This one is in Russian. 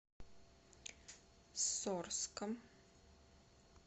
сорском